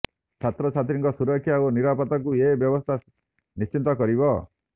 ଛାତ୍ରଛାତ୍ରୀଙ୍କ ସୁରକ୍ଷା ଓ ନିରାପତ୍ତାକୁ ଏ ବ୍ୟବସ୍ଥା ନିଶ୍ଚିତ କରିବ